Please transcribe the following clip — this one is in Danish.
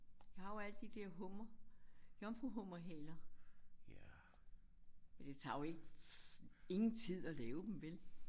Jeg har jo alle de der hummer jomfruhummerhaler. Men det tager jo ikke ingen tid at lave dem vel